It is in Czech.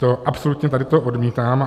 To absolutně tady to odmítám.